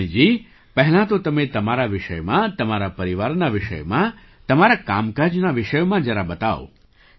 કલ્યાણીજી પહેલાં તો તમે તમારા વિષયમાં તમારા પરિવારના વિષયમાં તમારા કામકાજના વિષયમાં જરા બતાવો